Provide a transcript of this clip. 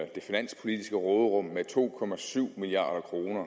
det finanspolitiske råderum med to milliard kroner